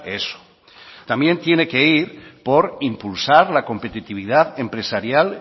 eso también tiene que ir por impulsar la competitividad empresarial